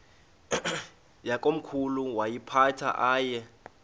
yakomkhulu woyiphatha aye